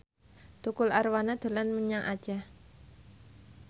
Tukul Arwana dolan menyang Aceh